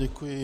Děkuji.